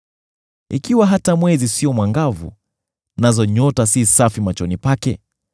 Ikiwa hata mwezi sio mwangavu nazo nyota si safi machoni pake,